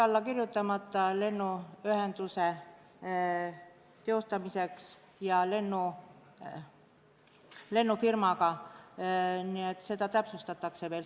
Lepingud lennuühenduse teostamise kohta on lennufirmaga hetkel alla kirjutamata, nii et seda täpsustatakse veel.